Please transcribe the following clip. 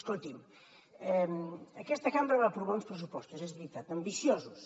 escolti’m aquesta cambra va aprovar uns pressupostos és veritat ambiciosos